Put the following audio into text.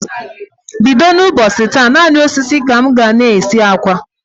Bido n' ụbọchị taa, naanị osisi ka m ga-na esi akwa.